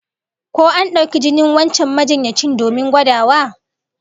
Ko an dauki jinin wancan majinyacin domin gwadawa?